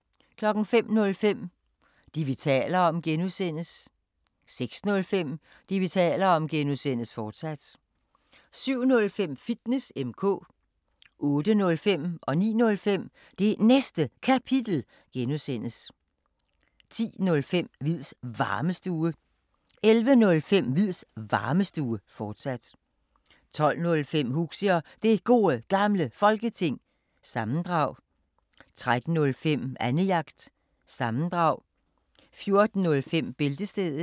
05:05: Det, vi taler om (G) 06:05: Det, vi taler om (G), fortsat 07:05: Fitness M/K 08:05: Det Næste Kapitel (G) 09:05: Det Næste Kapitel (G) 10:05: Hviids Varmestue 11:05: Hviids Varmestue, fortsat 12:05: Huxi og Det Gode Gamle Folketing, sammendrag 13:05: Annejagt – sammendrag 14:05: Bæltestedet